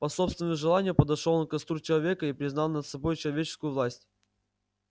по собственному желанию подошёл он к костру человека и признал над собой человеческую власть